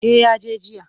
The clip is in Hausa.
Eh ya je jiya.